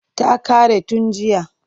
Ta ƙare tun jiya.